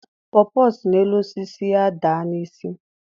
Pọọ pọọ si n'elu osisi ya daa ya n'isi.